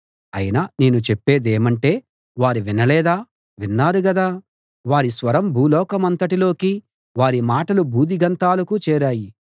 అయినా నేను చెప్పేదేమంటే వారు వినలేదా విన్నారు గదా వారి స్వరం భూలోకమంతటిలోకీ వారి మాటలు భూదిగంతాలకు చేరాయి